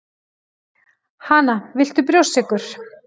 Hana, viltu brjóstsykur